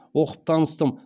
оқып таныстым